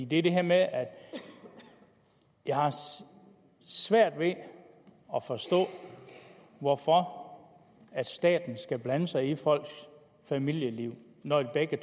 det er det her med at jeg har svært ved at forstå hvorfor staten skal blande sig i folks familieliv når begge